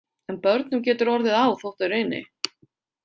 En börnum getur orðið á þótt þau reyni.